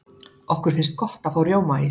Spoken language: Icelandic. okkur finnst gott að fá rjómaís